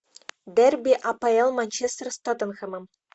дерби апл манчестер с тоттенхэмом